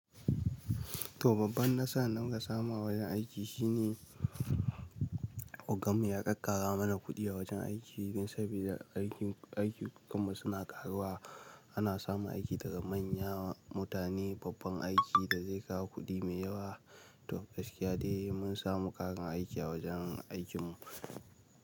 To babban nasara da muka samu awajen aiki shine ogan mu ya kakkara mana kuɗi a wajen aiki sabida aikin kamar suna ƙaruwa. Ana samu aiki daga manyan mutane, babban aiki da zai kawo kuɗi mai yawa. To gaskiya dai mun samu ƙarin aiki a wajen aikin mu.